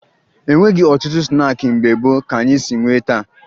E nweghi ọtụtụ snaakị mgbe gboo ka anyị si nwee taa